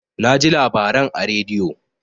Naji labaran a radio.